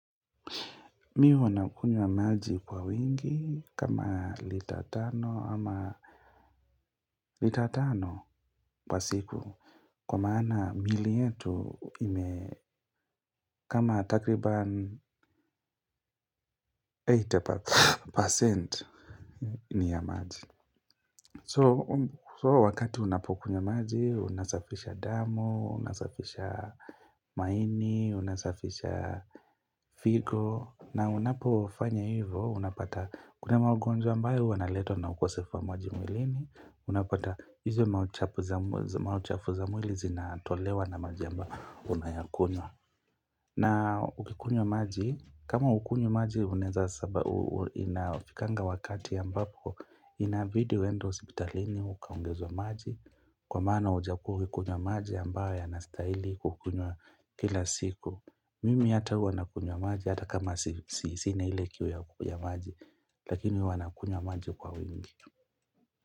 Mimi huwa nakunywa maji kwa wingi kama lita tano ama lita tano kwa siku kwa maana mili yetu ime kama takriban 80% ni ya maji. So wakati unapokunywa maji, unasafisha damu, unasafisha maini, unasafisha figo na unapofanya hivyo, unapata kune maugonjwa ambayo wana leto na ukosefwa maji mwilini Unapata hizyo mauchafu za mwili zinatolewa na maji ambayo unayakunywa na ukikunywa maji, kama ukunywi maji inafikanga wakati ambapo, inabidii uende hosipitalini ukaungezo maji kwa maana ujakuwa ukikunywa maji ambayo yanastaili kukunywa kila siku Mimi hata huwa nakunywa maji hata kama sina ile kunywa maji, lakini uwanakunywa maji kwa wingi.